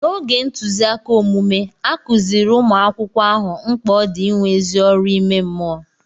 N'oge ntụziaka omume, a kụziiri umu akwụkwọ ahụ mkpa ọ dị inwe ezi ọrụ ime mmụọ.